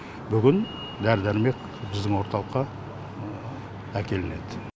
бүгін дәрі дәрмек біздің орталыққа әкелінеді